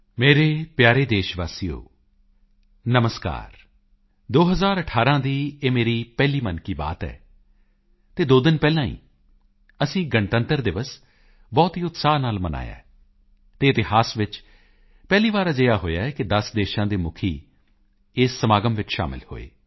ਮੇਰੇ ਪਿਆਰੇ ਦੇਸ਼ ਵਾਸੀਓ ਨਮਸਕਾਰ 2018 ਦੀ ਮੇਰੀ ਇਹ ਪਹਿਲੀ ਮਨ ਕੀ ਬਾਤ ਹੈ ਅਤੇ ਦੋ ਦਿਨ ਪਹਿਲਾਂ ਹੀ ਅਸੀਂ ਗਣਤੰਤਰ ਦਿਵਸ ਬਹੁਤ ਹੀ ਉਤਸਾਹ ਨਾਲ ਮਨਾਇਆ ਹੈ ਅਤੇ ਇਤਿਹਾਸ ਵਿੱਚ ਪਹਿਲੀ ਵਾਰ ਅਜਿਹਾ ਹੋਇਆ ਹੈ ਕਿ 10 ਦੇਸ਼ਾਂ ਦੇ ਮੁਖੀ ਇਸ ਸਮਾਗਮ ਵਿੱਚ ਸ਼ਾਮਿਲ ਹੋਏ